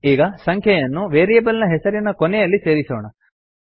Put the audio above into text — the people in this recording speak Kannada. ಈಗ ಸಂಖ್ಯೆಯನ್ನು ವೇರಿಯೇಬಲ್ ಹೆಸರಿನ ಕೊನೆಯಲ್ಲಿ ಸೇರಿಸೋಣ